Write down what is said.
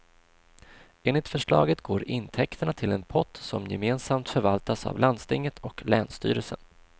Enligt förslaget går intäkterna till en pott som gemensamt förvaltas av landstinget och länsstyrelsen.